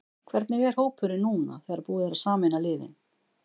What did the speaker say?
Hvernig er hópurinn núna þegar búið er að sameina liðin?